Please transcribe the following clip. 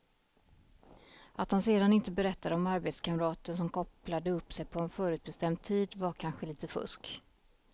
Att han sedan inte berättade om arbetskamraten som kopplade upp sig på en förutbestämd tid var kanske lite fusk.